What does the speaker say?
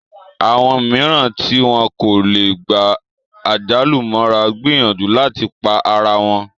Àwọn mìíràn tí wọn kò lè gba àjálù mọ́ra gbìyànjú láti pa ara wọn